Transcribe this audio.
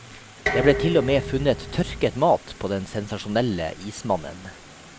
Det ble til og med funnet tørket mat på den sensasjonelle ismannen.